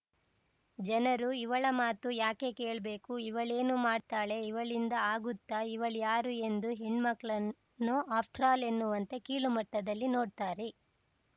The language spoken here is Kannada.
ಜನರು ಇವಳ ಮಾತು ಯಾಕೆ ಕೇಳ್ಬೇಕು ಇವಳೇನು ಮಾಡ್ತಾಳೆ ಇವಳಿಂದ ಆಗುತ್ತಾ ಇವಳ್ಯಾರು ಎಂದು ಹೆಣ್ಣನ್ನು ಆಫ್ಟ್ರಾಲ್‌ ಎನ್ನುವಂತೆ ಕೀಳುಮಟ್ಟದಲ್ಲಿ ನೋಡ್ತಾರೆ